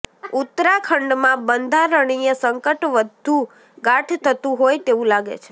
ઉત્તરાખંડમાં બંધારણીય સંકટ વધુ ગાઢ થતું હોય તેવું લાગે છે